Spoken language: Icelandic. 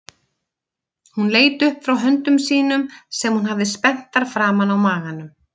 Hún leit upp frá höndum sínum sem hún hafði spenntar framan á maganum.